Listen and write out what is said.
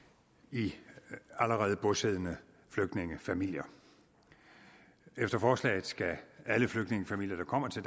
i allerede bosiddende flygtningefamilier efter forslaget skal alle flygtningefamilier der kommer til